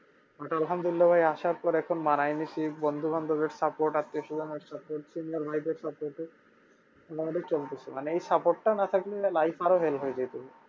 But আলহামদুল্লিয়াহ ভাই আসার পরে এখন মানায় নিছি বন্ধু বান্ধবের support আছে চলতেছে মানে এই support টা না থাকলে life আরো hell হয়ে যেত